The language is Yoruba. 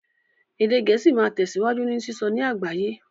Èdè Gẹ̀ẹ́sì máa tẹ̀síwájú ní sísọ ní àgbáyé